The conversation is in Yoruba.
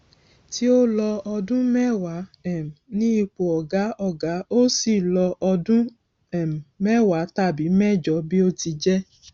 tí ó lọ ọdún mẹwàá um ní ipò ọgá ọgá ó sì lọ ọdún um mẹwàá tàbí mẹjọ bí ó ti jẹ